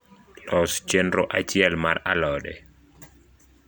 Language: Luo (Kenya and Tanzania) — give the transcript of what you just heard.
los chenro achiel mar alode